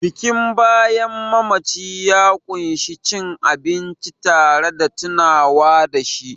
Bikin bayan mamaci ya ƙunshi cin abinci tare da tunawa da shi